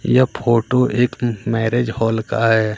यह फोटो एक marriage hall का है।